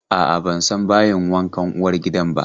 A'a, ban san bayin wankan uwargidan ba.